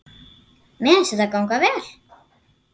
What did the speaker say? Mér fannst þetta ganga vel.